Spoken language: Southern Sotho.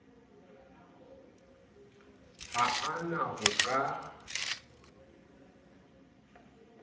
ha a na ho ka